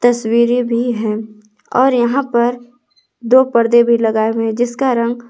तस्वीरें भी है और यहां पर दो पर्दे भी लगाए हुए हैं जिसका रंग।